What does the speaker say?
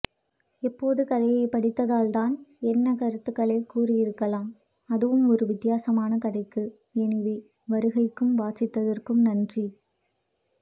எப்போது கதையைப் படித்தால்தான் என்ன கருத்துகளை கூறி இருக்கலாம் அதுவும் ஒருவித்தியாசமான கதைக்கு எனி வே வருகைக்கும் வாசித்ததற்கும் நன்றி